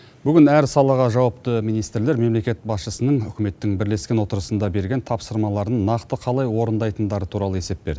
бүгін әр салаға жауапты министрлер мемлекет басшысының үкіметтің бірлескен отырысында берген тапсырмаларын нақты қалай орындайтындары туралы есеп берді